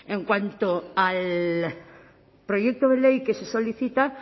en cuanto al proyecto de ley que se solicita